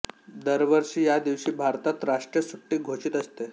दरवर्षी या दिवशी भारतात राष्ट्रीय सुट्टी घोषित असते